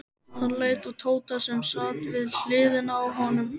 Hann leit á Tóta sem sat við hliðina á honum.